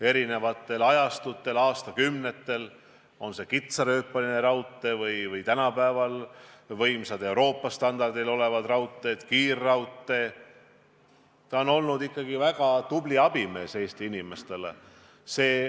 Eri ajastutel, aastakümnetel on raudtee – olgu see siis kitsarööpmeline raudtee või tänapäeva võimas Euroopa standarditele vastav raudtee, kiirraudtee – olnud ikkagi väga tubli abimees Eesti inimestele.